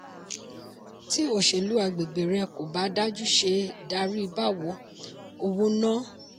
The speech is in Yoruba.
tí òsèlú agbègbè rẹ̀ kò bá dájú ṣé darí báwo? owó náà.